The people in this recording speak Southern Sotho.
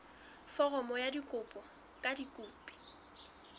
foromo ya kopo ka dikopi